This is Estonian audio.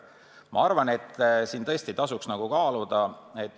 Ma arvan, et asja tõesti tasuks kaaluda.